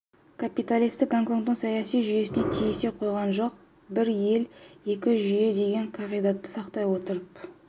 капиталистік гонконгтың саяси жүйесіне тиісе қойған жоқ бір ел екі жүйе деген қағидатты сақтай отырып